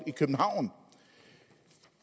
i københavn